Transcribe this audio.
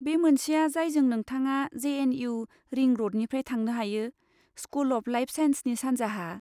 बै मोनसेआ जायजों नोंथाङा जे.एन.इउ. रिं र'डनिफ्राय थांनो हायो, स्कुल अफ लाइफ साइन्सनि सानजाहा।